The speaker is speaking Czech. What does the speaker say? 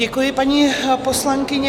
Děkuji, paní poslankyně.